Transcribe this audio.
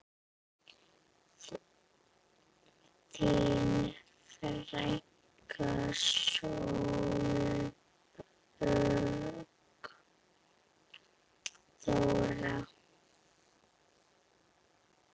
Þín frænka Sólborg Þóra.